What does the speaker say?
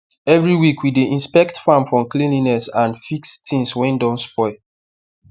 every week we dey inspect farm for cleanliness and fix things wey do spoil